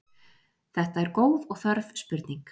Þetta er góð og þörf spurning.